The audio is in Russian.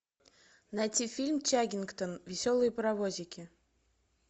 найти фильм чаггингтон веселые паровозики